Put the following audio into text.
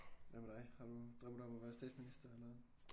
Hvad med dig har du drømmer du om at være statsminister eller hvad